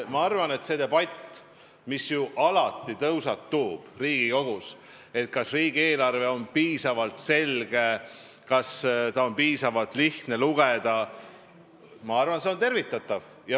Ma arvan, et see debatt, mis Riigikogus ju alati tõusetub, kas riigieelarve on piisavalt selge ja kas seda on piisavalt lihtne lugeda, on tervitatav.